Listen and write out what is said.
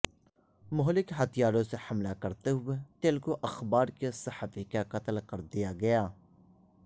مہلک ہتھیاروں سے حملہ کرتے ہوئے تلگو اخبار کے صحافی کا قتل کردیا گیا